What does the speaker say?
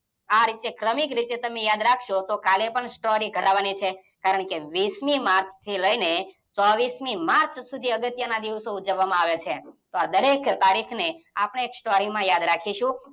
આ રીતે ક્રમિક રીતે તમે યાદ રાખશો તો કાલે પણ story કરવાની છે. કારણ કે વીસમી માર્ચ થી લઇને ચોવીસ માર્ચ સુધી અગત્યના દિવસો ઉજવામાં આવે છે. તો આ દરેક તારીખને આપણે સ્ટોરીમાં યાદ રાખશુ.